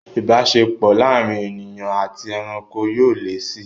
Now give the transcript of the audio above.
Ìbáṣepọ̀ láàárín ènìyàn àti ẹranko yóò le si